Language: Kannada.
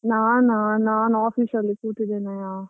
ನಾನಾ, ನಾನ್ office ಅಲ್ಲಿ ಕೂತಿದ್ದೇನೆಯಾ.